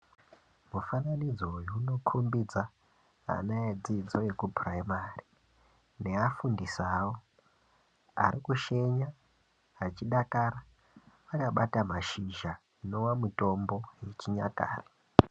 Mufananidzo uyu unokhombidza ,ana edzidzo yekupuraimari, neafundisi avo, ari kushenya, achidakara, akabata mashizha, inova mitombo yechinyakare.